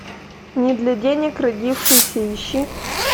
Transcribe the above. не для денег родившийся ищи